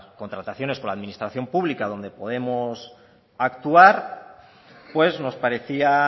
contrataciones con la administración pública donde podemos actuar pues nos parecía